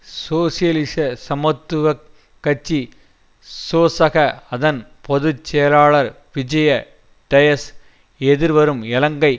சோசியலிச சமத்துவ கட்சி சோசக அதன் பொது செயலாளர் விஜேய டயஸ் எதிர்வரும் இலங்கை